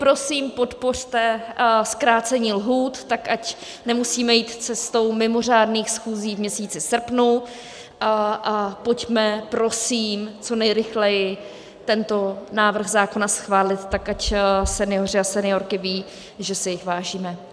Prosím, podpořte zkrácení lhůt tak, ať nemusíme jít cestou mimořádných schůzí v měsíci srpnu, a pojďme prosím co nejrychleji tento návrh zákona schválit tak, ať senioři a seniorky vědí, že si jich vážíme.